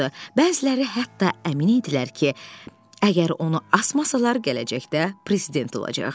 Bəziləri hətta əmin idilər ki, əgər onu asmasalar, gələcəkdə prezident olacaq.